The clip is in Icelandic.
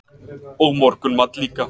Og morgunmat líka.